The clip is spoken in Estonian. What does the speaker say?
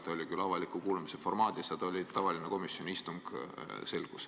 See oli küll avaliku kuulamise formaadis, aga tegemist oli tavalise komisjoni istungiga.